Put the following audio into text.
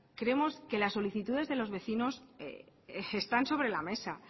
creemos que la solicitudes de los vecinos están sobre la mesa